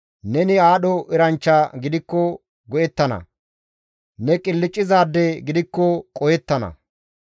Neni aadho eranchcha gidikko go7ettana; ne qilccizaade gidikko qohettana.